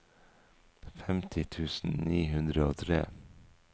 femti tusen ni hundre og tre